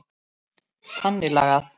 Þannig lagað.